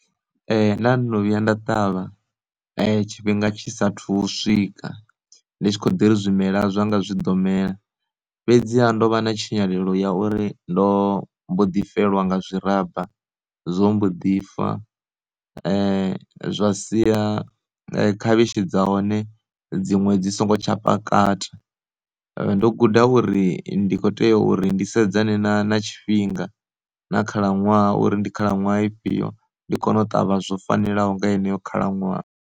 Nda ndono vhuya nda ṱavha tshifhinga tshi saathu u swika ndi tshi kho ḓi ri zwimela zwanga zwi ḓo mela, fhedziha ndo vha na tshinyalelo ya uri ndo mbo ḓi fhelelwa nga zwi ramba zwo mbo ḓi fa zwa sia khavhishi dza hone dziṅwe dzi songo tsha kakata. Ndo guda uri ndi kho tea uri ndi sedzana na na tshifhinga na khalaṅwaha uri ndi khalaṅwaha ifhio ndi kone u ṱavha zwo fanelaho nga heneyo khalaṅwaha.